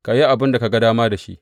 Ka yi abin da ka ga dama da shi.